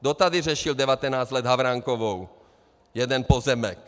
Kdo tady řešil 19 let Havránkovou, jeden pozemek?